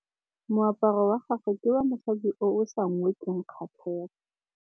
Moaparô wa gagwe ke wa mosadi yo o sa ngôkeng kgatlhegô.